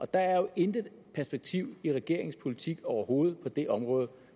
der er jo intet perspektiv i regeringens politik overhovedet på det område